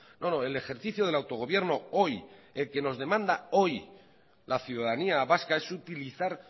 no no el ejercicio del autogobierno hoy el que nos demanda hoy la ciudadanía vasca es utilizar